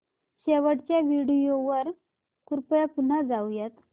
शेवटच्या व्हिडिओ वर कृपया पुन्हा जाऊयात